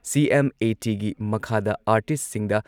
ꯁꯤ.ꯑꯦꯝ.ꯑꯦ.ꯇꯤꯒꯤ ꯃꯈꯥꯗ ꯑꯥꯔꯇꯤꯁꯠꯁꯤꯡꯗ